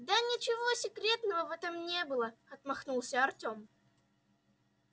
да ничего секретного в этом не было отмахнулся артём